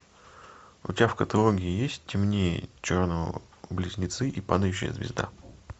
у тебя в каталоге есть темнее черного близнецы и падающая звезда